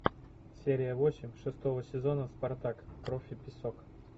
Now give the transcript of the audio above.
серия восемь шестого сезона спартак кровь и песок